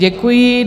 Děkuji.